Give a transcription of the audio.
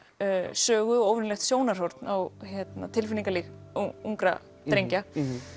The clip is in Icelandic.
sögu óvenjulegt sjónarhorn á tilfinningalíf ungra drengja